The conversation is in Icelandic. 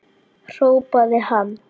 hrópaði hann.